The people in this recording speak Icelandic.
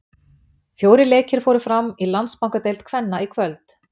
Fjórir leikir fóru fram í Landsbankadeild kvenna í kvöld.